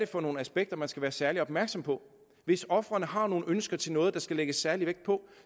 for nogle aspekter man skal være særlig opmærksom på hvis ofrene har nogle ønsker til noget der skal lægges særlig vægt på